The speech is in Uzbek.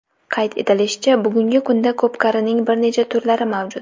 Qayd etilishicha, bugungi kunda ko‘pkarining bir necha turlari mavjud.